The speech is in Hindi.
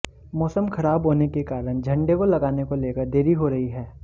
मौसम खराब होने के कारण झंडे को लगाने को लेकर देरी हो रही है